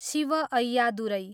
Shiv Ayyadurai